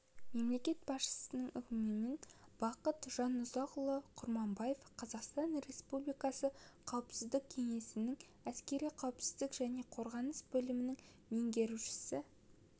мемлекет басшысының өкімімен бақыт жанұзақұлы құрманбаев қазақстан республикасы қауіпсіздік кеңесінің әскери қауіпсіздік және қорғаныс бөлімінің меңгерушісі